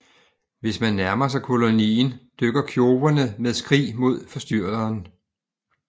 Hvis man nærmer sig kolonien dykker kjoverne med skrig mod forstyrreren